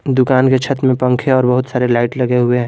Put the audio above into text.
दुकान के छत में पंखे और बहुत सारे लाइट लगे हुए हैं।